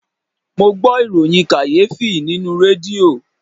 Mo gbọ ìròyìn kàyéfì nínú rédíò